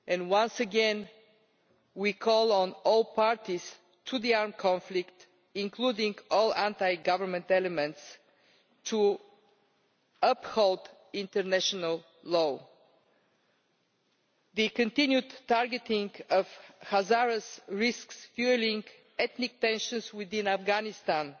Once again, we call on all parties to the armed conflict, including all anti-government elements, to uphold international law. The continued targeting of Hazaras risks fuelling ethnic tensions within Afghanistan.